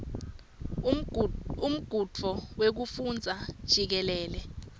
umgudvu wekufundza jikelele